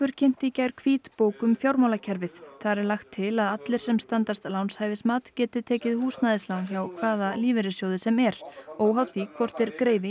kynnti í gær hvítbók um fjármálakerfið þar er lagt til að allir sem standast lánshæfismat geti tekið húsnæðislán hjá hvaða lífeyrissjóði sem er óháð því hvort þeir greiði í